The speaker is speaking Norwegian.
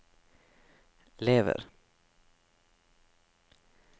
lever